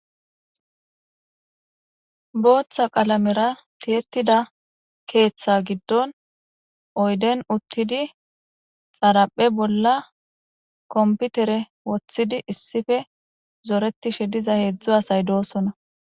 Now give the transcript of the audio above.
Booththa qalamera tiyettida keeththa giddon oyden uttidi xaraphe bolla komputere woththidi issife zoretishe diza heedzdzu asay doosona.